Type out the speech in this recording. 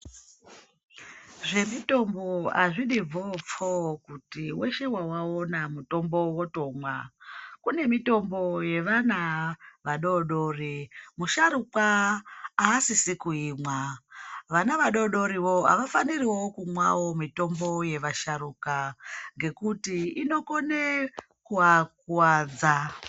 Zvemithombo azvidi bvoopfoo kuti weshe wawawona muthombo wotomwa. Kune mithombo yevana vadoodori, musharukwa aasisi kuimwa. Vana vadodori wo avafaniriwo kumwawo mithombo yevasharukwa ngekuti inokone kuvakuwadza.